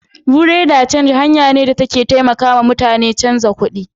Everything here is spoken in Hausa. "Buerea de change " hangar ce da take taimaka muta ni canza kalar kudi